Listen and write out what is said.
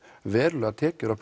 verulegar tekjur af